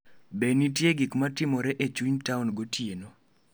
Be nitie gik matimore e chuny taon gotieno?